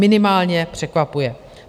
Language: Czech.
Minimálně překvapuje.